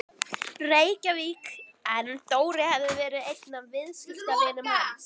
Reykjavík en Dóri hafði verið einn af viðskiptavinum hans.